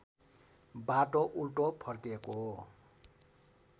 बाटो उल्टो फर्केको